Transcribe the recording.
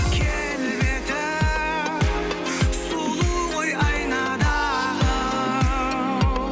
келбеті сұлу ғой айнадағы